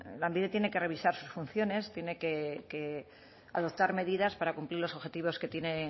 lanbide tiene que revisar sus funciones tiene que adoptar medidas para cumplir los objetivos que tiene